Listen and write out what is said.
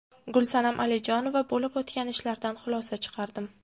Gulsanam Alijonova: Bo‘lib o‘tgan ishlardan xulosa chiqardim.